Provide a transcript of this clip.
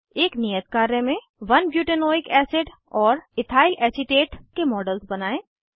एक नियत कार्य में 1 बुटानोइक एसिड और इथाइलेसिटेट के मॉडल्स बनायें